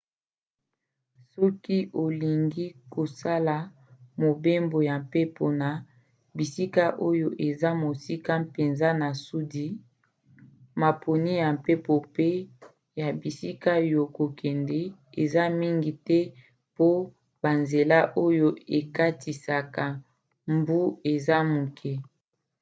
soki olingi kosala mobembo ya mpepo na bisika oyo eza mosika mpenza na sudi maponi ya mpepo mpe ya bisika ya kokende eza mingi te po banzela oyo ekatisaka mbu eza moke